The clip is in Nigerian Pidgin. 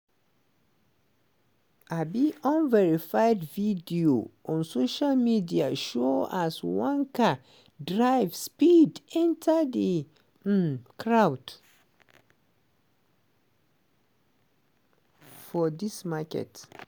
um unverified video on social media show as one car drive speed enta di um crowd for di market.